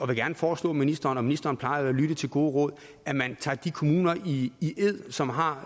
vil gerne foreslå ministeren og ministeren plejer jo at lytte til gode råd at man tager de kommuner i ed som har